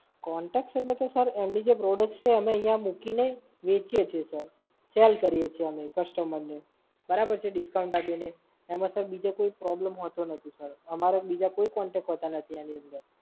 Contact છે એટલે કે Sir એમની જે Product છે, અમે અહિયાં મૂકીને વહેચીએ છે Sir સેલ કરીએ છે અમે Customer ને. બરાબર છે, discount આપીને. એમાં સર બીજો કોઈ problem હોતો નથી Sir. અમારે બીજા કોઈ Contact હોતા નથી એની અંદર.